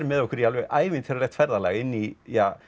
með okkur í alveg ævintýralegt ferðalag inn í